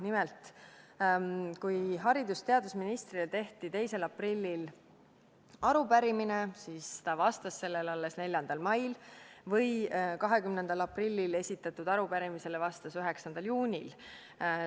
Nimelt, kui haridus- ja teadusministrile esitati 2. aprillil arupärimine, siis ta vastas sellele alles 4. mail, 20. aprillil esitatud arupärimisele vastas ta 9. juunil.